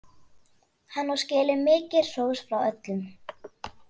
Hann á skilið mikið hrós frá öllum.